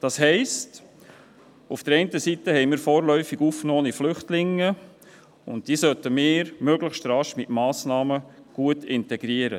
Das heisst: Auf der einen Seite gibt es vorläufig aufgenommene Flüchtlinge, und diese sollten wir möglichst rasch mit Massnahmen gut integrieren.